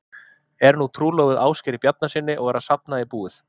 Er nú trúlofuð Ásgeiri Bjarnasyni og er að safna í búið.